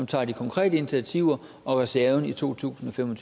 tager de konkrete initiativer og reserven i to tusind og fem